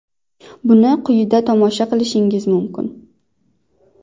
Buni quyida tomosha qilishingiz mumkin: !